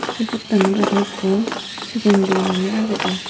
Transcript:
sey pottanot aro ikko sigon guro noney agedey.